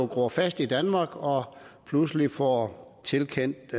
gror fast i danmark og pludselig får tilkendt